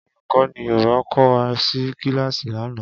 Olukọni Yoruba ko wa si kilasi lana.